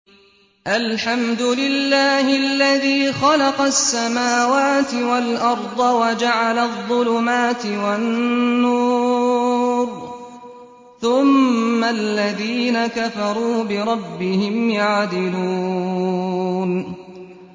الْحَمْدُ لِلَّهِ الَّذِي خَلَقَ السَّمَاوَاتِ وَالْأَرْضَ وَجَعَلَ الظُّلُمَاتِ وَالنُّورَ ۖ ثُمَّ الَّذِينَ كَفَرُوا بِرَبِّهِمْ يَعْدِلُونَ